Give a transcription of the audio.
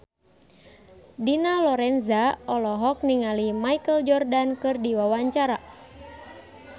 Dina Lorenza olohok ningali Michael Jordan keur diwawancara